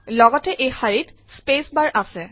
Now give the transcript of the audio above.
লগতে এই শাৰীত স্পেচ বাৰ আছে